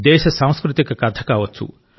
దేశ సాంస్కృతిక కథ కావచ్చు